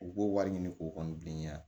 U b'o wari ɲini k'o kɔni bi ɲɛ